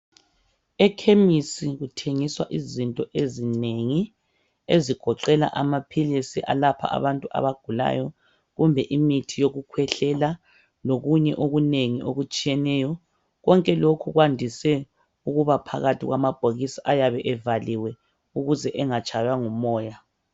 Ekhemisi kuthengiswa izinto ezinengi, ezigoqela amaphilisi alapha abantu abagulayo kumbe imithi yokukhwehlela lokunye okunengi okutshiyeneyo. Konke lokhu kwandise ukuba phakathi kwamabhokisi ayabe evaliwe ukuze engatshaywa ngumoya.